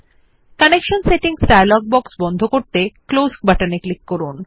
connection settings dialog box বন্ধ করতে close বাটনে ক্লিক করুন